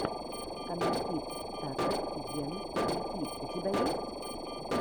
каналкидс тата ен хирики у тебя есть